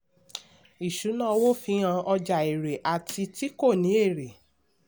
ìṣúná owó fi hàn ọjà èrè àti ti kò ní èrè.